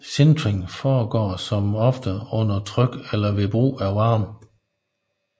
Sintring foregår som oftest under tryk eller ved brug af varme